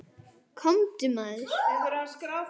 Komdu, maður.